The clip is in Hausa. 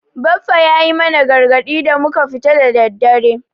Baffa ya yi mana gargadi da muka tafi da daddare.